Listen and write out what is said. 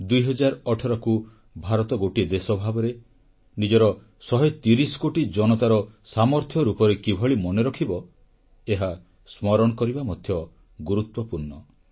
2018କୁ ଭାରତ ଗୋଟିଏ ଦେଶ ଭାବରେ ନିଜର ଶହେ ତିରିଶ କୋଟି ଜନତାର ସାମର୍ଥ୍ୟ ରୂପରେ କିଭଳି ମନେରଖିବ ଏହା ସ୍ମରଣ କରିବା ମଧ୍ୟ ଗୁରୁତ୍ୱପୂର୍ଣ୍ଣ